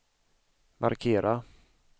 markera